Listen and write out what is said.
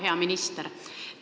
Hea minister!